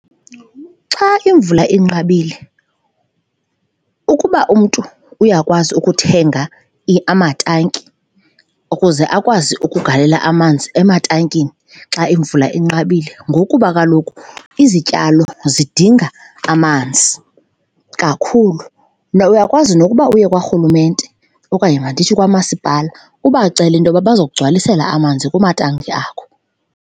Xa imvula inqabile, ukuba umntu uyakwazi ukuthenga amatanki ukuze akwazi ukugalela amanzi ematankini xa imvula inqabile ngokuba kaloku izityalo zidinga amanzi kakhulu. Mna uyakwazi nokuba uye kwarhulumente okanye mandithi kwamasipala ubacela into yoba bazokugcwalisela amanzi kumatanki akho.